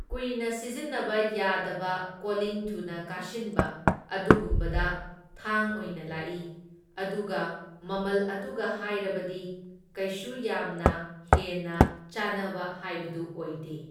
ꯀꯨꯏꯅ ꯁꯤꯖꯤꯟꯅꯕ ꯌꯥꯗꯕ ꯀꯣꯂꯤꯡ ꯊꯨꯅ ꯀꯥꯁꯤꯟꯕ ꯑꯗꯨꯒꯨꯝꯕꯗ ꯊꯥꯡ ꯑꯣꯏꯅ ꯂꯥꯛꯢ, ꯑꯗꯨꯒ ꯃꯃꯜ ꯑꯗꯨꯒ ꯍꯥꯏꯔꯕꯗꯤ ꯀꯩꯁꯨ ꯌꯥꯝꯅ ꯍꯦꯟꯅ ꯆꯥꯟꯅꯕ ꯍꯥꯢꯕꯗꯨ ꯑꯣꯏꯗꯦ꯫